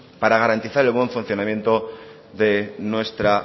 para garantizar el buen funcionamiento de nuestra